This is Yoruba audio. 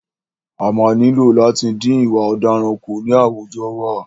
A máa nílò láti dín ìwà ọ̀daràn kù ní àwùjọ wa.